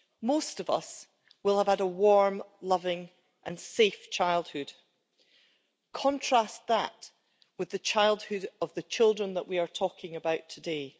Most of us will have had a warm, loving and safe childhood. Contrast that with the childhood of the children that we are talking about today.